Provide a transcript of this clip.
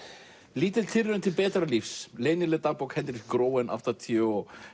lítil tilraun til betra lífs leynileg dagbók Hendrik Groen áttatíu og